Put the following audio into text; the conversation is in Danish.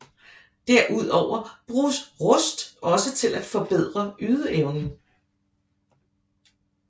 Derudover bruges Rust også til at forbedre ydeevnen